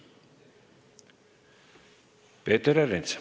Peeter Ernits.